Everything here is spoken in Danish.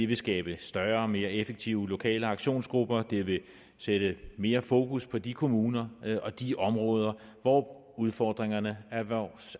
vil skabe større og mere effektive lokale aktionsgrupper det vil sætte mere fokus på de kommuner og de områder hvor udfordringerne